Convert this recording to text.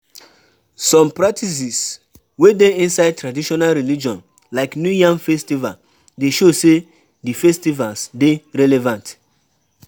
Some practices wey dey inside Traditional Religion like New Yam festival dey show sey di festivals dey relevant